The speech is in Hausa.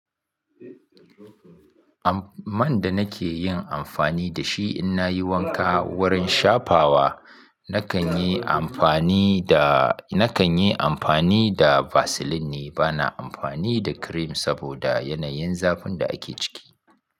Man da nake yin amfani da shi in na yi wanka wurin shafawa nakan yi amfani da, nakan yi amfani da Vaseline ne, bana amfani da cream saboda yanayin zafin da ake ciki.